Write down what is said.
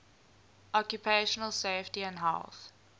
occupational safety and health